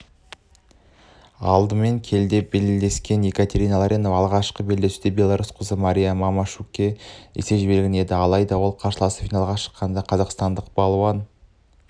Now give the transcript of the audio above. алдымен келіде белдескен екатерина ларионова алғашқы белдесуде беларусь қызы мария мамашукке есе жіберген еді алайда ол қарсыласы финалға шыққандықтан қазақстандық балуан